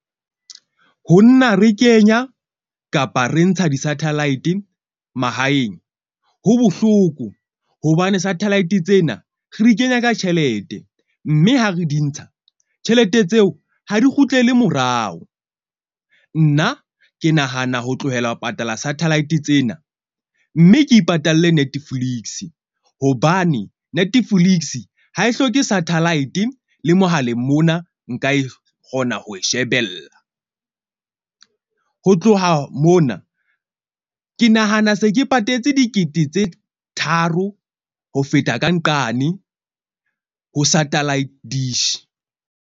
Ho nna re kenya kapa re ntsha di-satellite mahaeng ho bohloko. Hobane satellite tsena re di kenya ka tjhelete, mme ha re di ntsha tjhelete tseo ha di kgutlele morao. Nna ke nahana ho tlohela ho patala satellite tsena. Mme ke ipatalle Netflix hobane Netflix ha e hloke satellite le mohaleng mona. Nka e kgona ho e shebella. Ho tloha mona ke nahana se ke patetse dikete tse tharo ho feta ka nqane ho satellite dish.